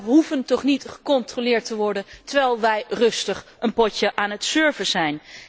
Wij hoeven toch niet gecontroleerd te worden terwijl wij rustig een potje aan het surfen zijn!